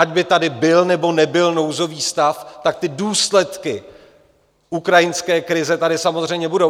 Ať by tady byl, nebo nebyl nouzový stav, tak ty důsledky ukrajinské krize tady samozřejmě budou.